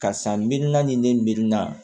Karisa mirina ni ne mirina